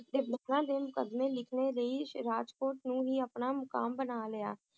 ਦੇ ਮੁਕੱਦਮੇ ਲਿਖਣ ਲਈ ਰਾਜਕੋਟ ਨੂੰ ਹੀ ਅਪਣਾ ਮੁਕਾਮ ਬਣਾ ਲਿਆ